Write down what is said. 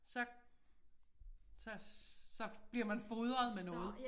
Så så så bliver man fodret med noget